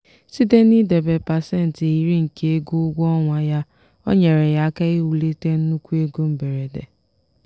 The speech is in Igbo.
site n'idebe pasentị iri nke ego ụgwọ ọnwa ya o nyere ya aka iwulite nnukwu ego mberede.